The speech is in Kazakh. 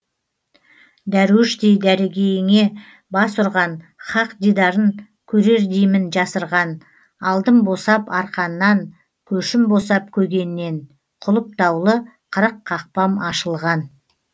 дәруіштей дәргейіңе бас ұрған хақ дидарын көрердеймін жасырған алдым босап арқаннан көшім босап көгеннен құлыптаулы қырық қақпам ашылған